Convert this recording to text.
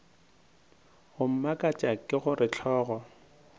go mmakatša ke gore hlogo